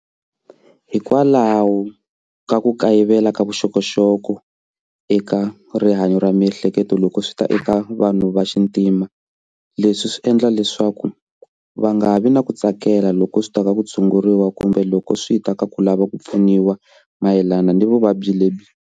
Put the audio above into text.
Hikwalaho ka ku kayivela ka vuxokoxoko eka rihanyo ra miehleketo loko swi ta eka vanhu va xintima leswi swi endla leswaku va nga vi na ku tsakela loko swi ta ka ku tshunguriwa kumbe loko swi ta ka ku lava ku pfuniwa mayelana na vuvabyi lebyi.